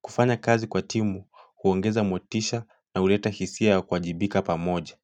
Kufanya kazi kwa timu kuongeza motisha na huleta hisia ya kuwajibika pamoja.